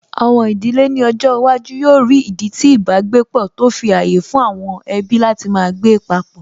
Àwọn ìdílé ní ọjọ́ iwájú yóò rí ìdí tí ìbágbépọ̀, tó fi ààyè fún àwọn ẹbí láti máa gbé papọ̀